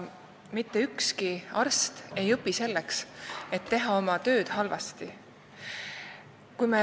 Mitte ükski arst ei õpi selleks, et teha oma tööd halvasti.